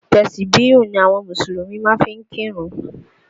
Tẹ̀sìbíyù ni àwọn Mùsùlùmí máa ń fi kírun